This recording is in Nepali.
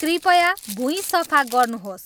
कृपया भुँइ सफा गर्नुहोस्